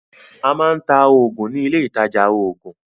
A máa ń ta oògùn ní ilé ìtajà oògùn